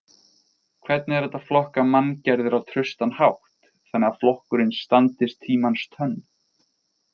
Hvernig er hægt að flokka manngerðir á traustan hátt þannig að flokkunin standist tímans tönn?